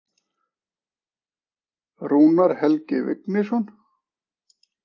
Rúnar Helgi Vignisson.